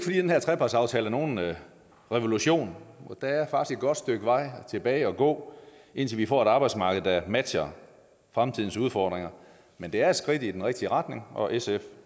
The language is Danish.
her trepartsaftale er nogen revolution der er faktisk et godt stykke vej tilbage at gå indtil vi får et arbejdsmarked der matcher fremtidens udfordringer men det er et skridt i den rigtige retning og sf